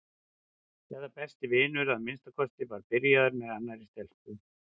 eða besti vinur að minnsta kosti var byrjaður með annarri stelpu.